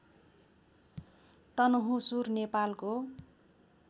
तनहुँसुर नेपालको